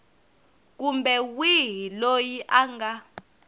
kumbe wihi loyi a nga